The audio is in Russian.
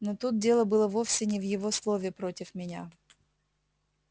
но тут дело было вовсе не в его слове против меня